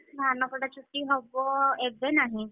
ଧାନ କଟା ଛୁଟି ହବ ଏବେ ନାହିଁ।